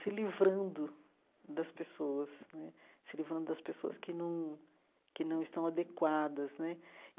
se livrando das pessoas né, se livrando das pessoas que não que não estão adequadas né.